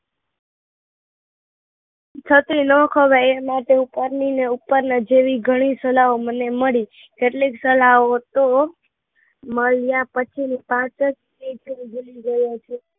છત્રી નાં ખવાય એ માટે ઉપરની ને ઉપરના જેવી ઘણી સલાહો મને મળી કેટલીક સલાહો તો મળ્યા પછી પાંચ